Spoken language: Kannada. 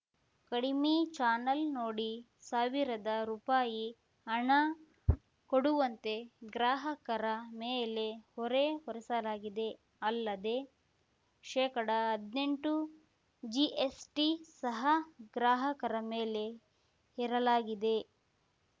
ಕಡಿಮೆ ಚಾನೆಲ್‌ ನೋಡಿ ಸಾವಿರದ ರುಪಾಯಿ ಹಣ ಕೊಡುವಂತೆ ಗ್ರಾಹಕರ ಮೇಲೆ ಹೊರೆ ಹೊರಿಸಲಾಗಿದೆ ಅಲ್ಲದೇ ಶೇಕಡಹದ್ನೆಂಟು ಜಿಎಸ್‌ಟಿ ಸಹ ಗ್ರಾಹಕರ ಮೇಲೆ ಹೇರಲಾಗಿದೆ